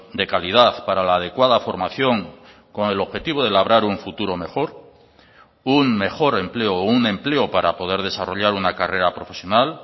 de calidad para la adecuada formación con el objetivo de labrar un futuro mejor un mejor empleo o un empleo para poder desarrollar una carrera profesional